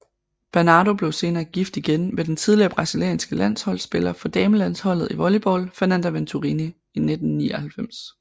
Bernardo blev senere gift igen med den tidligere brasilianske landsholdspiller for damelandsholdet i volleyball Fernanda Venturini i 1999